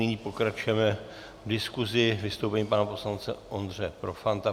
Nyní pokračujeme v diskusi vystoupením pana poslance Ondřeje Profanta.